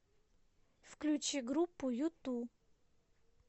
включи группу юту